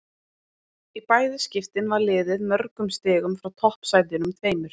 Í bæði skiptin var liðið mörgum stigum frá toppsætunum tveimur.